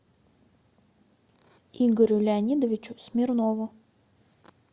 игорю леонидовичу смирнову